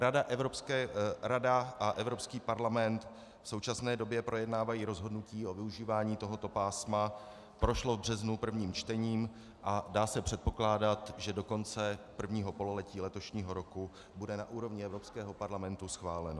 Rada a Evropský parlament v současné době projednávají rozhodnutí o využívání tohoto pásma, prošlo v březnu prvním čtením a dá se předpokládat, že do konce prvního pololetí letošního roku bude na úrovni Evropského parlamentu schváleno.